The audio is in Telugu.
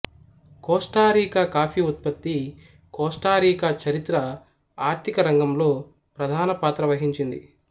కోస్టారీకా కాఫీ ఉత్పత్తి కోస్టారీకా చరిత్ర ఆర్ధికరంగంలో ప్రధానపాత్ర వహించింది